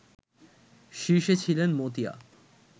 শীর্ষে ছিলেন মতিয়া